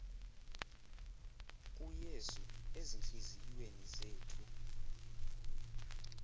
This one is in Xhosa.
kuyesu ezintliziyweni zethu